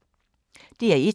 DR1